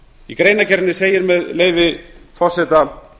í greinargerðinni segir með leyfi forseta